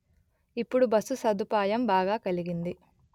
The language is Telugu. ఇప్పుడు బస్సు సదుపాయం బాగా కలిగింది